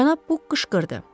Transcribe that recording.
Cənab Buk qışqırdı.